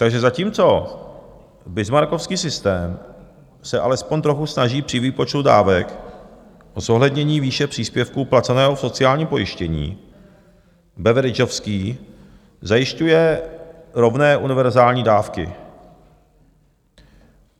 Takže zatímco bismarckovský systém se alespoň trochu snaží při výpočtu dávek o zohlednění výše příspěvku placeného v sociálním pojištění, beveridgeovský zajišťuje rovné univerzální dávky.